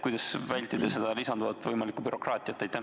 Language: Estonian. Kuidas vältida võimalikku lisanduvat bürokraatiat?